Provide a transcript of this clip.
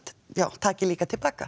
taki líka til baka